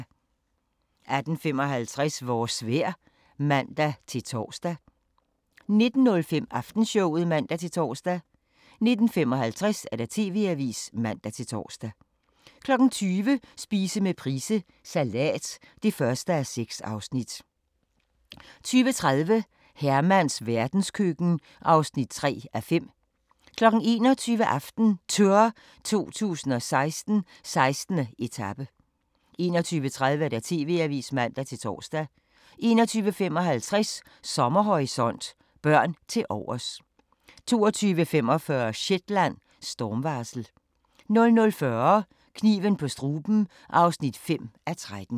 18:55: Vores vejr (man-tor) 19:05: Aftenshowet (man-tor) 19:55: TV-avisen (man-tor) 20:00: Spise med Price – Salat (1:6) 20:30: Hermans verdenskøkken (3:5) 21:00: AftenTour 2016: 16. etape 21:30: TV-avisen (man-tor) 21:55: Sommerhorisont: Børn tilovers 22:45: Shetland: Stormvarsel 00:40: Kniven på struben (5:13)